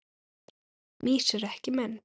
Mýs eru ekki menn